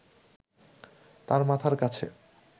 তাঁর মাথার কাছে